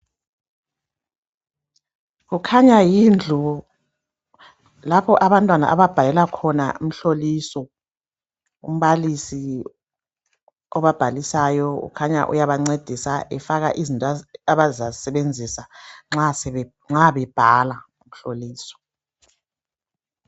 Kukhanya yindlu laoho abantwana ababhalela khona imihloliso umbalisi obabhalisayo ukhanya uyabangcedisa efaka into abazazisebenzisa nxa bebhala umhloliso